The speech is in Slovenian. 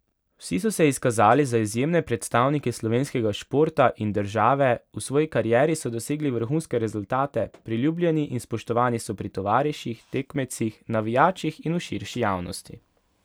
Vsi so se izkazali za izjemne predstavnike slovenskega športa in države, v svoji karieri so dosegli vrhunske rezultate, priljubljeni in spoštovani so pri tovariših, tekmecih, navijačih in v širši javnosti.